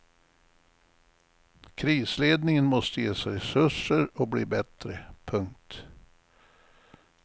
Krisledningen måste ges resurser och bli bättre. punkt